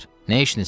Nə işiniz var?